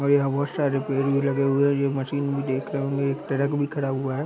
और यहाँ बहुत सारे पेड़ भी लगे हुए है ये मशीन भी देख रहे होंगे एक ट्रक भी खड़ा हुआ है।